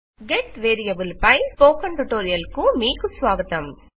get variable పై spoken tutorial కు మీకు స్వాగతం